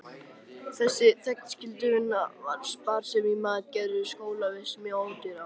Þessi þegnskylduvinna og sparsemi í mat gerðu skólavist mjög ódýra.